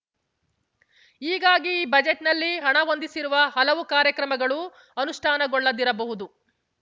ಹೀಗಾಗಿ ಈ ಬಜೆಟ್‌ನಲ್ಲಿ ಹಣ ಹೊಂದಿಸಿರುವ ಹಲವು ಕಾರ್ಯಕ್ರಮಗಳು ಅನುಷ್ಠಾನಗೊಳ್ಳದಿರಬಹುದು